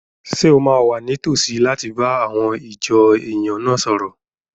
Ṣé o máa wà ní tòsí láti bá àwọn ìjọ èèyàn náà sọ̀rọ̀?